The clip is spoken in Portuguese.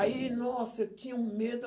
Aí, nossa, eu tinha um medo.